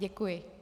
Děkuji.